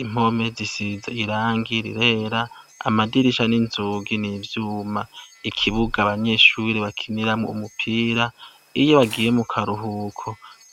impome zisiza irangirirera amadirisha n'inzogi n'ivyuma ikibuga abanyeshuri bakiniramwo umupira iyo bagiye mu karuhuko